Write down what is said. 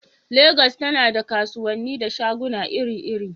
Legas tana da kasuwanni da shaguna iri-iri.